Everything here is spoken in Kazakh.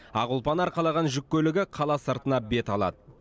ақ ұлпаны арқалаған жүк көлігі қала сыртына бет алады